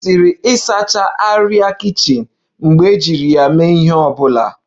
E kwesiri ịsacha arịa kichin mgbe ejiri ya mee ihe ọ bụla